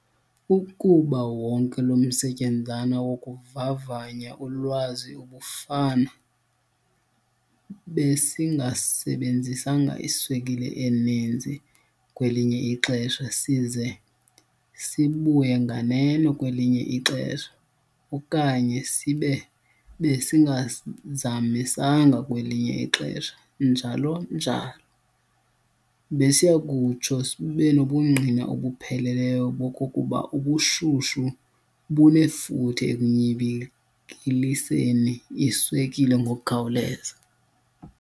Ukuba wonke lo msetyenzana wokuvavanya ulwazi ubufana, besingasebenzisanga iswekile eninzi kwelinye ixesha size sibuye nganeno kwelinye ixesha, okanye sibe besingazamisanga kwelinye ixesha njalo, njalo., besiyakutsho sibenobungqina obupheleleyo bokokuba ubushushu bunefuthe ekunyibilikiseni iswekile ngokukhawuleza.